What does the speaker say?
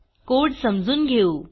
code समजून घेऊ